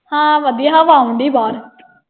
ਹਾਂ ਵਧੀਆ। ਹਵਾ ਆਉਣ ਡਈ ਬਾਹਰ।